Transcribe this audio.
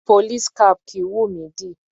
Police cap kìí wùnmí dì.